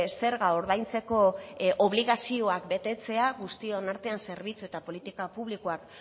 zerga ordaintzeko obligazioak betetzea guztion artean zerbitzu eta politika publikoak